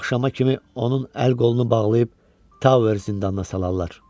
Axşama kimi onun əl-qolunu bağlayıb Tower zindanına salarlar.